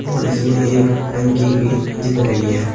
और इसमें एक टंकी भी दिख रही है।